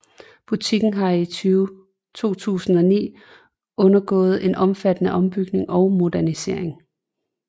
Butikken har i 2009 undergået en omfattende ombygning og modernisering